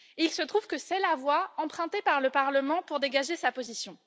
Il se trouve que c'est la voie empruntée par le Parlement pour dégager sa position.